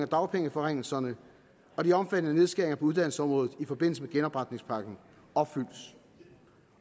dagpengeforringelserne og de omfattende nedskæringer på uddannelsesområdet i forbindelse med genopretningspakken opfyldes